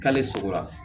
K'ale sogora